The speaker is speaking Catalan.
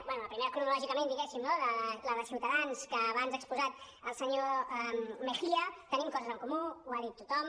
bé la primera cronològicament diguéssim no la de ciutadans que abans ha expo·sat el senyor mejía tenim coses en comú ho ha dit tothom